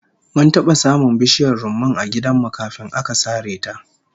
Mun taba samun bishiyar rumman a gidan mu kafin aka sare ta